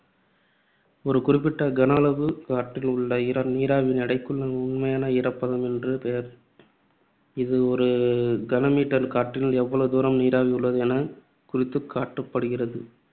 ஒரு குறிப்பிட்ட கன அளவு காற்றில் உள்ள நீராவியின் எடைக்கு உண்மையான ஈரப்பதம் என்று பெயர். இது ஒரு கன meter காற்றில் எவ்வளவு gram நீராவி உள்ளது எனக் குறித்துக் காட்டுப்படுகிறது.